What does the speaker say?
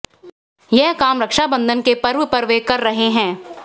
यह काम रक्षाबंधन के पर्व पर वे कर रहे हैं